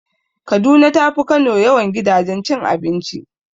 Kaduna tafi Kano yawan gidajen cin abinci.